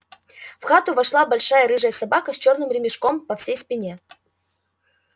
в хату вошла большая рыжая собака с чёрным ремешком по всей спине